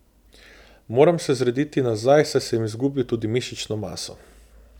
Moram se zrediti nazaj, saj sem izgubil tudi mišično maso.